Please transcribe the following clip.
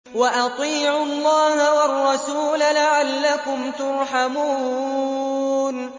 وَأَطِيعُوا اللَّهَ وَالرَّسُولَ لَعَلَّكُمْ تُرْحَمُونَ